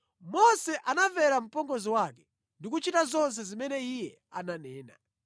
Mose anamvera mpongozi wake ndi kuchita zonse zimene iye ananena.